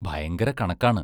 ഭയങ്കര കണക്കാണ്.